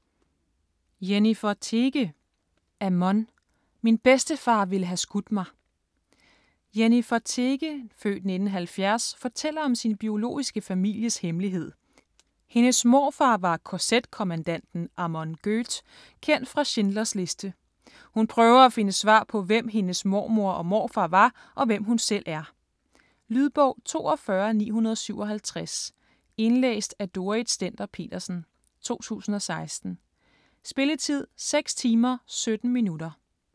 Teege, Jennifer: Amon: min bedstefar ville have skudt mig Jennifer Teege (f. 1970) fortæller om sin biologiske families hemmelighed: hendes morfar var kz-kommandanten Amon Göth, kendt fra Schindlers liste. Hun prøver at finde svar på hvem hendes mormor og morfar var og hvem hun selv er. Lydbog 42957 Indlæst af Dorrit Stender-Petersen, 2016. Spilletid: 6 timer, 17 minutter.